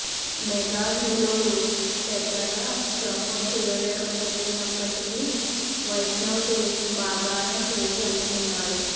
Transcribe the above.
mega హీరోలు పెద్దగా promote చేయలేకపోతున్నప్పటికీ వైష్ణవ్ తేజ్ బాగానే క్రేజ్ అందుకున్నాడు